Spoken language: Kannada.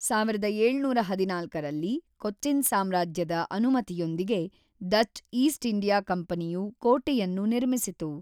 ೧೭೧೪ರಲ್ಲಿ ಕೊಚ್ಚಿನ್ ಸಾಮ್ರಾಜ್ಯದ ಅನುಮತಿಯೊಂದಿಗೆ ಡಚ್ ಈಸ್ಟ್ ಇಂಡಿಯಾ ಕಂಪನಿಯು ಕೋಟೆಯನ್ನು ನಿರ್ಮಿಸಿತು.